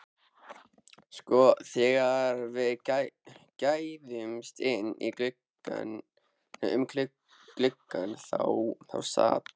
Sko, þegar við gægðumst inn um gluggann þá sat